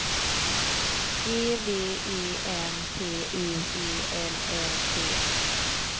E V E N T U E L L T